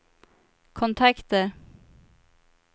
kontakter